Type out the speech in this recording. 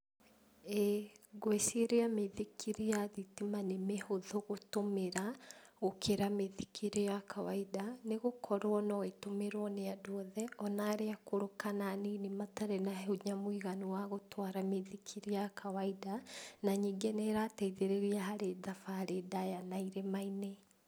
Ĩĩ. Ngwĩciria mĩithikiri ya thitima nĩ mĩhũthũ gũtũmĩra gũkĩra mĩithikiri ya kawainda , nĩgũkorwo no ĩtũmĩrwo nĩ andũ othe ona arĩa akũrũ kana anini matarĩ na hinya mũiganu wa gũtwara mũithikiri ya kawaida, na ningĩ nĩrateithĩrĩria harĩ thabarĩ ndaya na irĩma-inĩ.